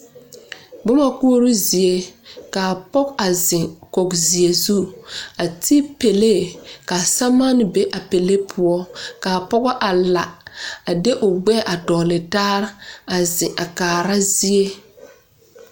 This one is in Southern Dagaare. Buma kuuroo zie ka pɔgo a zeng koo zie zu a te pɛlee ka samaani bɛ a pɛlee puo kaa poɔ a la a de ɔ gbɛɛ a doɔle taa a zeng a kaara zeɛ.